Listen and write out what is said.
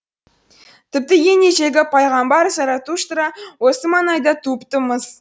тіпті ең ежелгі пайғамбар заратуштра осы маңайда туыпты мыс